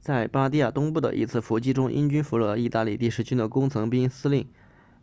在巴蒂亚东部的一次伏击中英军俘虏了意大利第十军的工程兵司令